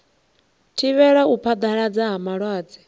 thivhela u phaḓalala ha malwadze